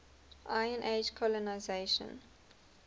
iron age colonisation